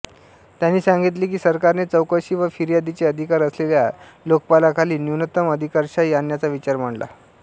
त्यांनी सांगितले की सरकारने चौकशी व फिर्यादीचे अधिकार असलेल्या लोकपालाखाली न्यूनतम अधिकारशाही आणण्याचा विचार मांडला